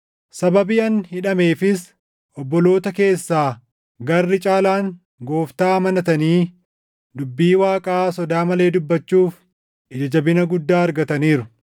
Sababii ani hidhameefis obboloota keessaa garri caalaan Gooftaa amanatanii, dubbii Waaqaa sodaa malee dubbachuuf ija jabina guddaa argataniiru.